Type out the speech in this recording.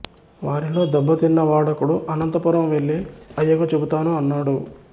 వారిలో దెబ్బతిన్న వాడొకడు అనంతపురం వెళ్ళి అయ్యకు చెబుతాను అన్నాడు